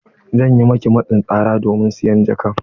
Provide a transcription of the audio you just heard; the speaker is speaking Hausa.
An yi miki matsin tsara domin siyan jakar?